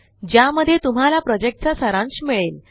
ज्यामध्ये तुम्हाला प्रॉजेक्टचा सारांश मिळेल